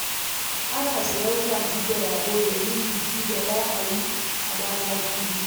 Ana sayen kaji da rago domin biki da za a yi a Damaturu.